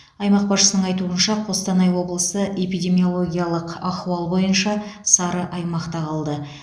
аймақ басшысының айтуынша қостанай облысы эпидемиологиялық ахуал бойынша сары аймақта қалды